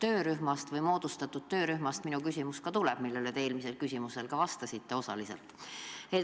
Minu küsimus tulebki just moodustatud töörühma kohta, eelmise küsimuse puhul te sellele osaliselt ka vastasite.